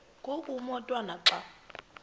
ngoku umotwana xa